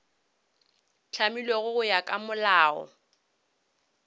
hlamilwego go ya ka molao